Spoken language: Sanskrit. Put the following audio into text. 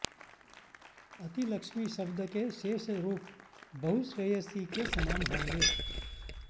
अतिलक्ष्मी शब्द के शेष रूप बहुश्रेयसी के समान होंगे